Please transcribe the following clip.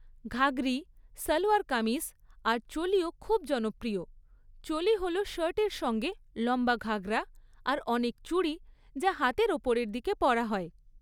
ঘাগরি, সালোয়ার কামিজ, আর চোলিও খুব জনপ্রিয়, চোলি হল শার্টের সঙ্গে লম্বা ঘাঘরা আর অনেক চুড়ি যা হাতের ওপরের দিকে পরা হয়।